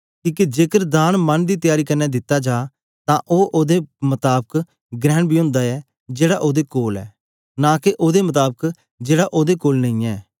किके जेकर दान मन दी त्यारी क्न्ने दित्ता जा तां ओ ओदे मताबक ग्रहण बी ओंदा ऐ जेड़ा ओदे कोल ऐ नां के ओदे मताबक जेड़ा ओदे कोल नेईयैं